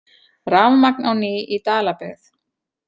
Rafmagn á ný í Dalabyggð